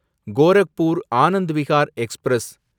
Gorakhpur Anand Vihar express